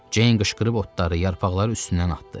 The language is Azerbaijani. Ceyn qışqırıb otları yarpaqların üstündən atdı.